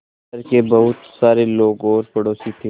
शहर के बहुत सारे लोग और पड़ोसी थे